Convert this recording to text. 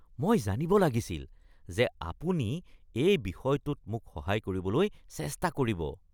মই জানিব লাগিছিল যে আপুনি এই বিষয়টোত মোক সহায় কৰিবলৈ চেষ্টা কৰিব (গ্ৰাহক)